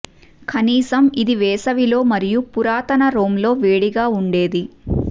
కనీసం ఇది వేసవి లో మరియు పురాతన రోమ్ లో వేడిగా ఉండేది